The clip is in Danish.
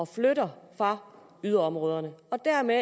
flytter fra yderområderne og dermed